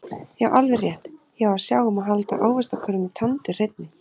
Já alveg rétt, ég á að sjá um að halda ávaxtakörfunni tandurhreinni